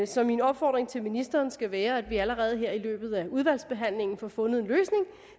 så min opfordring til ministeren skal være at vi allerede her i løbet af udvalgsbehandlingen får fundet en løsning